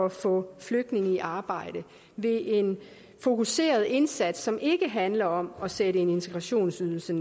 at få flygtninge i arbejde ved en fokuseret indsats som ikke handler om at sætte en integrationsydelse